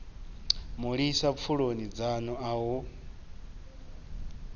mulisa pfuloni dzanu a hu